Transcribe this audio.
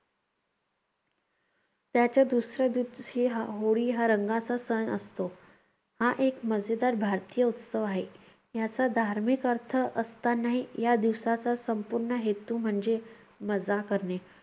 त्याच्या दुसऱ्या दिवशी होळी हा रंगाचा सण असतो. हा एक मजेदार भारतीय उत्सव आहे. याचा धार्मिक अर्थ असतानाही या दिवसाचा संपूर्ण हेतू म्हणजे मजा करणे.